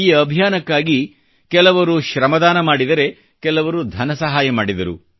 ಈ ಅಭಿಯಾನಕ್ಕಾಗಿ ಕೆಲವರು ಶ್ರಮದಾನ ಮಾಡಿದರೆ ಕೆಲವರು ಧನಸಹಾಯ ಮಾಡಿದರು